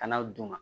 Kana u d'u ma